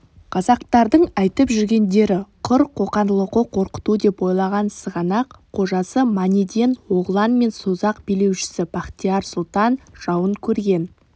қазақтардың айтып жүргендері құр қоқан-лоқы қорқыту деп ойлаған сығанақ қожасы манеден-оғлан мен созақ билеушісі бахтияр сұлтан жауын көрген